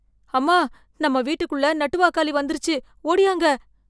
அம்மா, நம்ம வீட்டுக்குள்ள நட்டுவாக்காலி வந்துருச்சு, ஓடியாங்க.